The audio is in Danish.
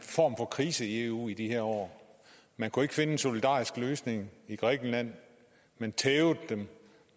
for krise i eu i de her år man kunne ikke finde en solidarisk løsning i grækenland men tævede dem